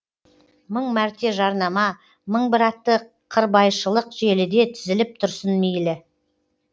мың мәрте жарнама мың бір атты қырбайшылық желіде тізіліп тұрсын мейлі